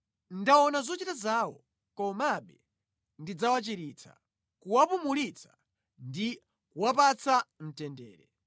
Ndaona zochita zawo, komabe ndidzawachiritsa; kuwapumulitsa ndi kuwapatsa mtendere,